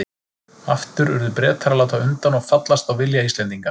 Aftur urðu Bretar að láta undan og fallast á vilja Íslendinga.